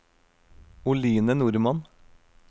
Oline Normann